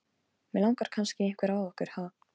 Þig langar kannski í einhvern af okkur, ha?